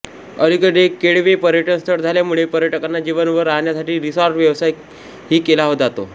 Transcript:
अलीकडे केळवे पर्यटन स्थळ झाल्यामुळे पर्यटकांना जेवण व राहण्यासाठी रिसॉर्ट व्यवसाय ही केला जातो